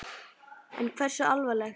En hversu alvarleg?